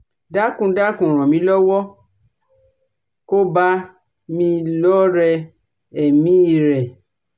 dákun dákun ràn mí lọ́wọ́ ko bá mi lọ́re èmí i rẹ̀